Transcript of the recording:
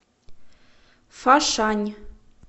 фошань